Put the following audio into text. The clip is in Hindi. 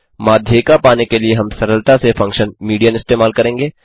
माध्यिका पाने के लिए हम सरलता से फंक्शन मीडियन इस्तेमाल करेंगे